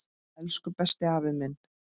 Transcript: Elsku besti afi minn.